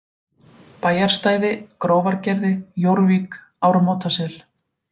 Bæjarstæði, Grófargerði, Jórvík, Ármótasel